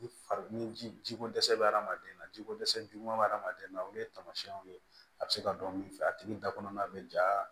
Ni fari ni ji ko dɛsɛ bɛ hadamaden na ji ko dɛsɛ juguman bɛ adamaden na olu ye taamasiyɛnw ye a bɛ se ka dɔn min fɛ a tigi da kɔnɔna bɛ ja